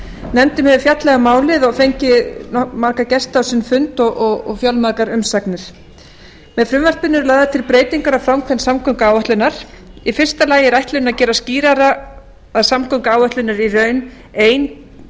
nefndin hefur fjallað um málið og fengið marga gesti á sinn fund og fjölmargar umsagnir með frumvarpinu eru lagðar til breytingar á framkvæmd samgönguáætlunar í fyrsta lagi er ætlunin að gera skýrara að samgönguáætlun er í raun ein